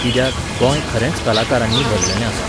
कित्याक, गोंय खरेंच कलाकारांनी भरलेलें आसा.